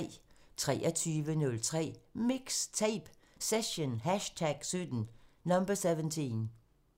23:03: MIXTAPE – Session #17